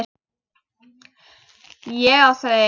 Ég á þau ein.